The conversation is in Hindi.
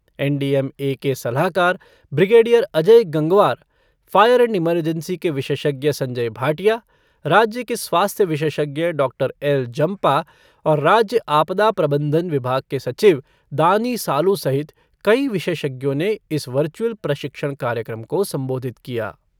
एन डी एम ए के सलाहकार brigadier Ajay Gangwar fire and emergency के विशेषज्ञ संजय भाटिया, राज्य के स्वास्थ्य विशेषज्ञ डॉक्टर एल जम्पा और राज्य आपदा प्रबंधन विभाग के सचिव दानी सालु सहित कई विशेषज्ञों ने इस वर्चुअल प्रशिक्षण कार्यक्रम को संबोधित किया।